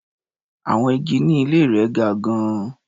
Àwọn igi ní ilé rẹ̀ ga gan-an.